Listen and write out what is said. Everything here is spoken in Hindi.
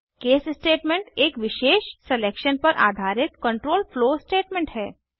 केस स्टेटमेंट एक विशेष सलेक्शन पर आधारित कंट्रोल फ्लो स्टेटमेंट है